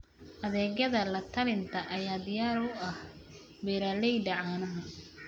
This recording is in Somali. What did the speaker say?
Adeegyada la-talinta ayaa diyaar u ah beeralayda caanaha.